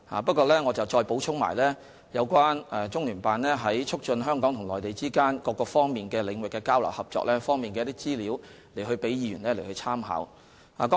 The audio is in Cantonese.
不過，我補充了關於中聯辦在促進香港與內地之間各個領域交流合作方面的資料，以供議員參考。